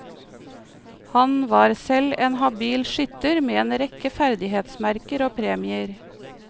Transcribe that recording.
Han var selv en habil skytter med en rekke ferdighetsmerker og premier.